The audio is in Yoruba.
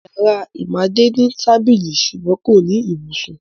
Ìyàrá Ìmádé ní tábìlì ṣùgbọ́n kò ní ibùsùn.